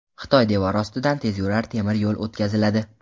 Xitoy devori ostidan tezyurar temir yo‘l o‘tkaziladi.